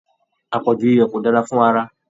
Apọju iyọ ko dára fún ará.